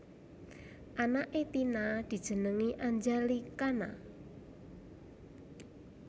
Anake Tina dijenengi Anjali Khana